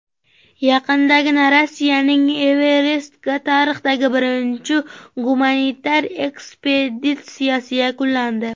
Yaqindagina Rossiyaning Everestga tarixdagi birinchi gumanitar ekspeditsiyasi yakunlandi.